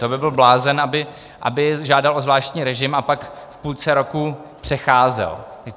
To by byl blázen, aby žádal o zvláštní režim a pak v půlce roku přecházel.